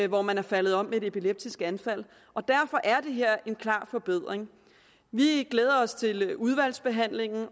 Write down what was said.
hvor man er faldet om med et epileptisk anfald derfor er det her en klar forbedring vi glæder os til udvalgsbehandlingen